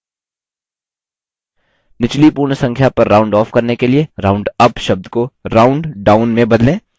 निचली पूर्ण संख्या पर round off करने के लिए roundup शब्द को rounddown में बदलें